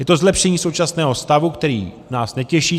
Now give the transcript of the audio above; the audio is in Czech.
Je to zlepšení současného stavu, který nás netěší.